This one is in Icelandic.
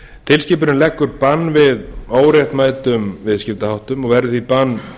tilskipunin leggur bann við óréttmætum viðskiptaháttum og verður því bann